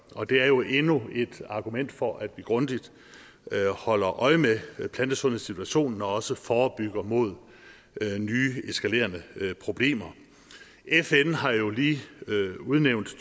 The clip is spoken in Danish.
og det er jo endnu et argument for at vi grundigt holder øje med plantesundhedssituationen og også forebygger mod nye eskalerende problemer fn har jo lige udnævnt to